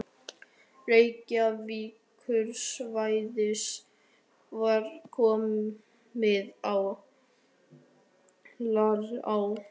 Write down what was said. Reykjavíkursvæðisins var komið á laggirnar á